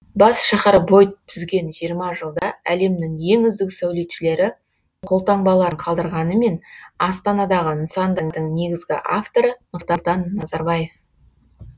бас шаһар бой түзген жиырма жылда әлемнің ең үздік сәулетшілері қолтаңбаларын қалдырғанымен астанадағы нысандардың негізгі авторы нұрсұлтан назарбаев